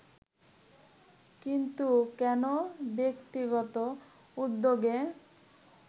কিন্তু কেন ব্যক্তিগত উদ্যোগে